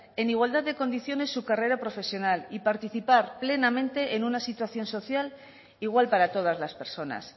en igualdad de condiciones su carrera profesional y participar plenamente en una situación social igual para todas las personas